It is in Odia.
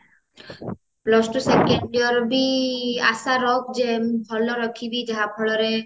plus two second yearବି ଆଶା ରଖ ଯେ ମୁଁ ଭଲ ରଖିବି ଯାହା ଫଳରେ